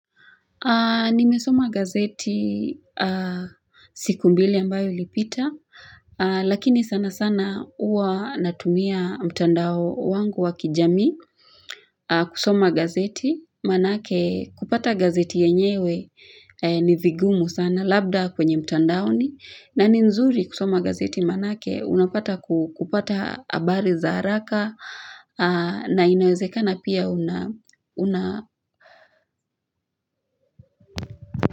Nimesoma gazeti siku mbili ambayo ilipita Lakini sana sana uwa natumia mtandao wangu wa kijamii kusoma gazeti manake kupata gazeti yenyewe ni vigumu sana labda kwenye mtandaoni na ni nzuri kusoma gazeti manake unapata kupata abari za haraka na inawezekana pia una una.